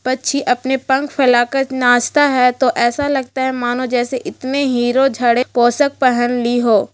पंछी अपना पंख फैला कर नाचता है तो ऐसा लगता हैं मानो जैसे इतने ही हीरो झरे पोशाक पहन ली हो।